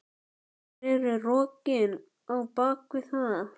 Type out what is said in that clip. Hver eru rökin á bakvið það?